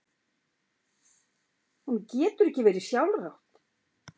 Honum getur ekki verið sjálfrátt.